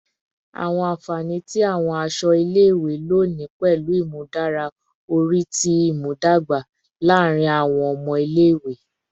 Awọn anfani ti awọn aṣọ ile-iwe loni pẹlu imudara ori ti imudogba laarin awọn ọmọ ile-iwe